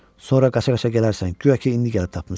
Sonra qaça-qaça gələrsən, guya ki, indi gəlib tapmısan.